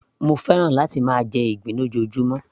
mo fẹ́ràn láti máa jẹ ìgbín lójoojúmó